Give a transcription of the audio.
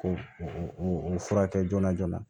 Ko o furakɛ joona joona